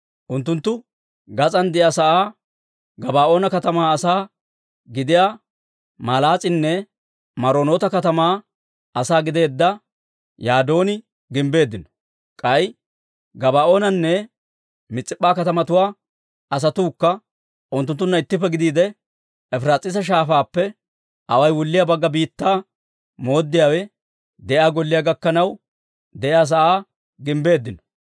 Unttunttu gas'aan de'iyaa sa'aa Gabaa'oona katamaa asaa gidiyaa Malaas'eenne Meronoota katamaa asaa gideedda Yadooni gimbbeeddino. K'ay Gabaa'oonanne Mis'ip'p'a katamatuwaa asatuukka unttunttunna ittippe gidiide, Efiraas'iisa Shaafaappe awaay wulliyaa Bagga Biittaa mooddiyaawe de'iyaa golliyaa gakkanaw de'iyaa sa'aa gimbbeeddino.